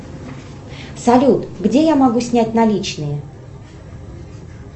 салют где я могу снять наличные